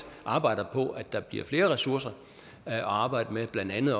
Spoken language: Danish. arbejder på at der bliver flere ressourcer at arbejde med blandt andet